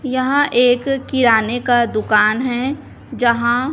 यहां एक किराने का दुकान है यहां--